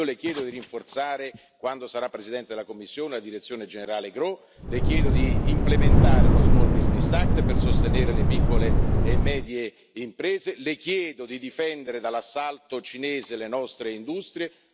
Io Le chiedo di rinforzare, quando sarà Presidente della Commissione, alla direzione generale GROW, Le chiedo di implementare lo Small Business Act per sostenere le piccole e medie imprese, Le chiedo di difendere dall'assalto cinese le nostre industrie.